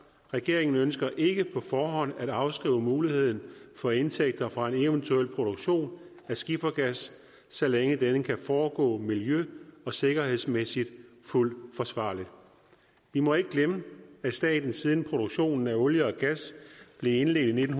regeringen ønsker ikke på forhånd at afskrive muligheden for indtægter fra en eventuel produktion af skifergas så længe denne kan foregå miljø og sikkerhedsmæssigt fuldt forsvarligt vi må ikke glemme at staten siden produktionen af olie og gas blev indledt i nitten